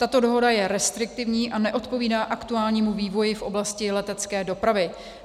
Tato dohoda je restriktivní a neodpovídá aktuálnímu vývoji v oblasti letecké dopravy.